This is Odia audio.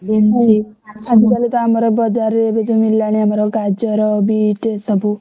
ଆଜିକାଲିକା ଆମର ବଜାରରେ ଏବେ ଯୋଉ ମିଳିଲାଣି ଆମର ଗାଜର ବିଟ୍ ସବୁ